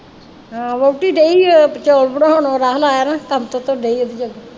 ਵਹੁਟੀ ਡਈ ਹੈ ਚੌਲ ਬਣਾਉਣ ਰਾਹੁਲ ਆਇਆ ਨਾ ਕੰਮ ਤੋਂ ਤੇ ਡਈ